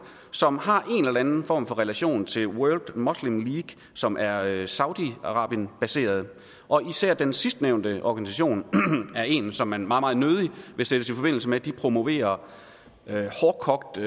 som har en eller anden form for relation til world muslim league som er er saudi arabien baseret og især den sidstnævnte organisation er en som man meget meget nødig vil sættes i forbindelse med de promoverer hårdkogt